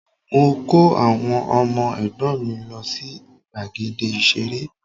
Mo kó àwọn ọmọ ẹ̀gbọ́n mì lọ sí gbàgede ìṣeré